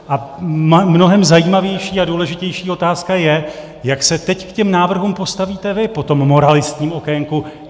A mnohem zajímavější a důležitější otázka je, jak se teď k těm návrhům postavíte vy po tom moralistním okénku.